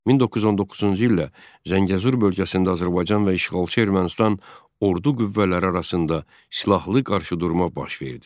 1919-cu ildə Zəngəzur bölgəsində Azərbaycan və işğalçı Ermənistan ordu qüvvələri arasında silahlı qarşıdurma baş verdi.